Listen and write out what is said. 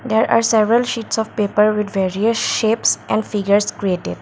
there are several sheets of paper with various shapes and figures created.